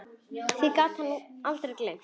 Því gat hann aldrei gleymt.